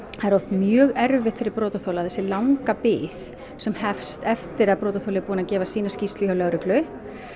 það er oft mjög erfitt fyrir brotaþola þessi langa bið sem hefst eftir að brotaþoli er búinn að gefa sína skýrslu hjá lögreglu